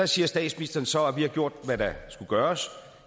siger statsministeren så at man har gjort hvad der skulle gøres